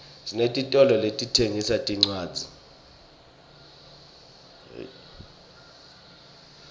sinetitolo letitsengisa tincwadzi